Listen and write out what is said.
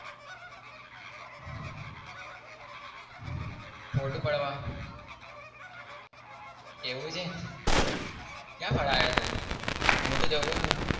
Photo પાડવા એવું છે? ક્યાં પડાવ્યો હતો? હું તો